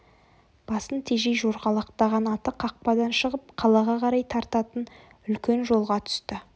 басын тежей жорғалатқан аты қақпадан шығып қалаға қарай тартатын үлкен жолға түсті